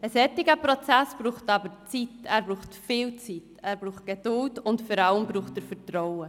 Ein solcher Prozess benötigt aber Zeit, viel Zeit, Geduld und vor allem Vertrauen.